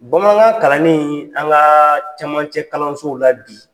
Bamanankan kalannin an ŋaa camancɛkalansow la bi